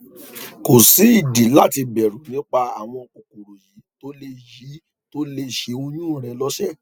kò sí ìdí láti bẹrù nípa àwọn kòkòrò yìí tó lè yìí tó lè ṣe oyún rẹ lọṣẹ